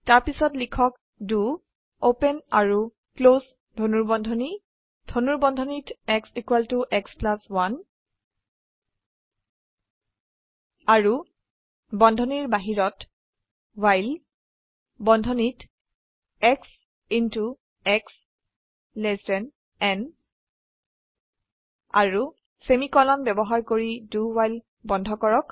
তাৰপিছত লিখক the open আৰু ক্লোস ধনুৰ্বন্ধনী ধনুৰ্বন্ধনীত x x 1 আৰু ধনুৰ্বন্ধনীৰ বাহিৰত ৱ্হাইল বন্ধনীত শ্ব শ্ব ন আৰু সেমিকোলন ব্যবহাৰ কৰি do ৱ্হাইল বন্ধ কৰক